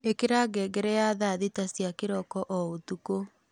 ĩkĩra ngengere ya thaa thita cia kĩroko o ũtukũ